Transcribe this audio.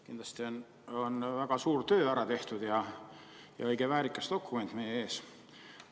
Kindlasti on väga suur töö ära tehtud ja õige väärikas dokument meie ees.